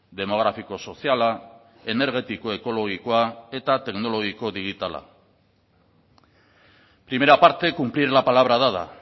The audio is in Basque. demografiko soziala energetiko ekologikoa eta teknologiko digitala primera parte cumplir la palabra dada